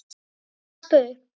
Ég vaska upp.